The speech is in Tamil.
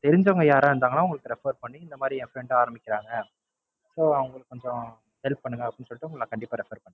தெரிஞ்சவங்க யாரவது இருந்தா, அவங்கள Refer பண்ணி, இந்த மாறி ஆரம்பிக்கிறாங்க So அவங்களுக்கு கொஞ்சம் Help பண்ணுங்க. அப்படின்னு சொல்லி கண்டிப்பா Refer பண்ற